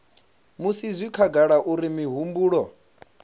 musi zwi khagala uri mihumbulo